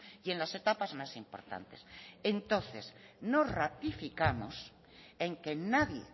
y en las etapas más importantes entonces nos ratificamos en que nadie